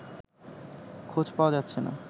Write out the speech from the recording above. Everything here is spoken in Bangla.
খোঁজ পাওয়া যাচ্ছে না